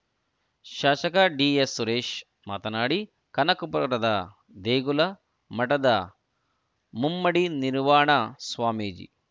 ಶಾಸಕ ಡಿಎಸ್‌ ಸುರೇಶ್‌ ಮಾತನಾಡಿ ಕನಕಪುರದ ದೇಗುಲ ಮಠದ ಮುಮ್ಮಡಿ ನಿರ್ವಾಣ ಸ್ವಾಮೀಜಿ